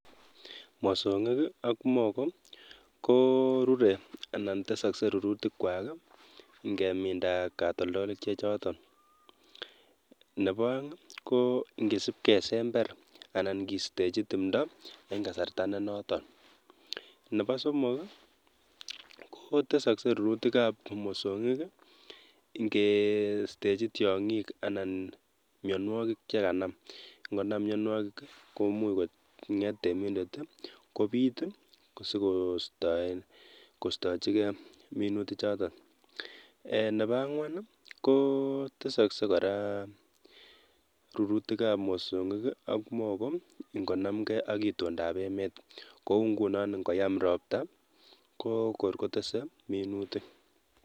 mosong'ik ak mogo korure anan teskse rirutikwai ngeminda katoldolik chechotok. nebo aeng ko, ngesipkesember anan keistechi tumdo eng' kasarta ne nootok. nebo somok, kotesakse rirutikap mosong'ik ngestechi tiong'ik anan mnyonwokik chekanam. ngonam mnyanwokik komuch kong'et temindet kobiit, sikoistoen kostochikei minutik chootok. nebo ang'wan, kotesakse kora minutik ap mosong'ik ak mogo ngonamgei ak itondapemet, kou nguno koyam ropta kotese minutik.